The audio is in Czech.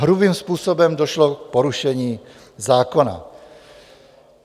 Hrubým způsobem došlo k porušení zákona.